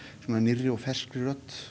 svona nýrri og ferskri rödd